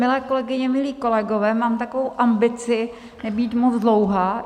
Milé kolegyně, milí kolegové, mám takovou ambici nebýt moc dlouhá.